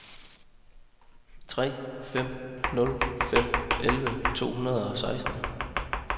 tre fem nul fem elleve to hundrede og seksten